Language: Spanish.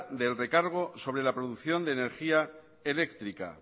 del recargo sobre la producción de energía eléctrica